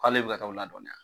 K'ale bɛ ka taa o ladɔnniya